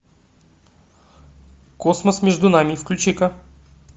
космос между нами включи ка